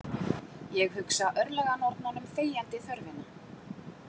Ég hugsa örlaganornunum þegjandi þörfina.